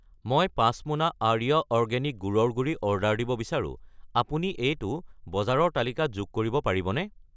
মই 5 মোনা আৰ্য অৰ্গেনিক গুড়ৰ গুড়ি অৰ্ডাৰ দিব বিচাৰো, আপুনি এইটো বজাৰৰ তালিকাত যোগ কৰিব পাৰিবনে?